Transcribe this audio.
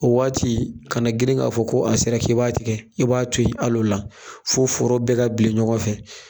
O waati kana grin k'a fɔ ko a sera k'i b'a tigɛ i b'a to ye al'ola fɔ foro bɛ ka bilen ɲɔgɔn fɛ